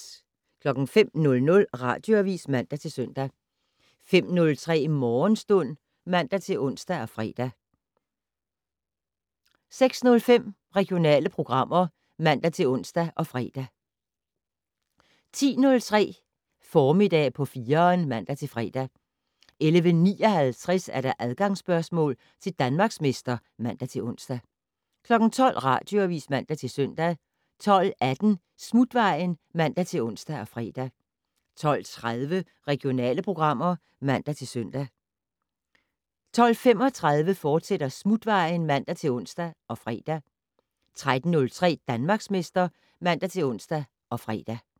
05:00: Radioavis (man-søn) 05:03: Morgenstund (man-ons og fre) 06:05: Regionale programmer (man-ons og fre) 10:03: Formiddag på 4'eren (man-fre) 11:59: Adgangsspørgsmål til Danmarksmester (man-ons) 12:00: Radioavis (man-søn) 12:18: Smutvejen (man-ons og fre) 12:30: Regionale programmer (man-søn) 12:35: Smutvejen, fortsat (man-ons og fre) 13:03: Danmarksmester (man-ons og fre)